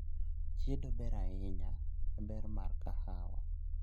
chiedo ber ahinya e ber mar kahawa